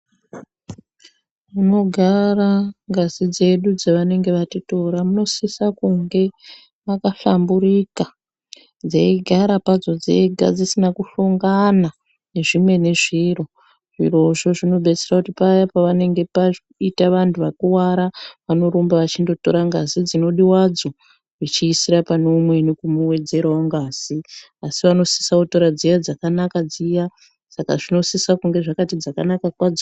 Munogara ngazi dzedu dzavanenge vatitora munosisa kunge makahlamburika. Dzeigara padzo dzega dzisina kuhlongana nezvimweni zviro. Zvirozvo zvinodetsera kuti paya pavanenga paita vantu vakuvara, vanorumba vachindotora ngazi dzinodiwadzo vechiisira pane umweni kumuwedzerawo ngazi. Asi vanosisa kutora dziya dzakanaka dziya. Saka zvinosisa kunge zvakati dzakanaka kwadzo.